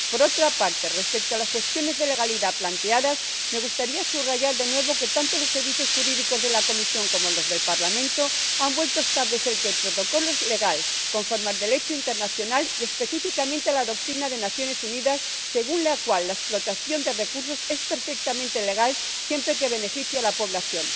Por otra parte, respecto a las cuestiones de legalidad planteadas, me gustaría subrayar de nuevo que, tanto los servicios jurídicos de la Comisión como los del Parlamento, han vuelto a establecer que el Protocolo es legal, conforme al Derecho internacional, y específicamente a la doctrina de las Naciones Unidas, según la cual la explotación de recursos es perfectamente legal, siempre que beneficie a la población.